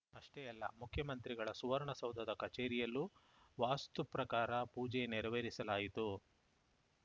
ಅಷ್ಟೇ ಅಲ್ಲ ಮುಖ್ಯಮಂತ್ರಿಗಳ ಸುವರ್ಣಸೌಧದ ಕಚೇರಿಯಲ್ಲೂ ವಾಸ್ತು ಪ್ರಕಾರ ಪೂಜೆ ನೆರವೇರಿಸಲಾಯಿತು